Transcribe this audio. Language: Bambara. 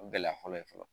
O ye gɛlɛya fɔlɔ ye fɔlɔ